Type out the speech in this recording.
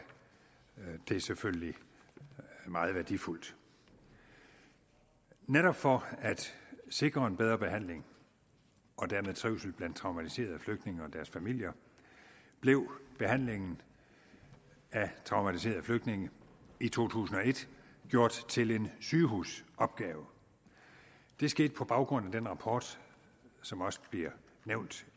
det selvfølgelig meget værdifuldt netop for at sikre en bedre behandling og dermed trivsel blandt traumatiserede flygtninge og deres familier blev behandlingen af traumatiserede flygtninge i to tusind og et gjort til en sygehusopgave det skete på baggrund af den rapport som også bliver nævnt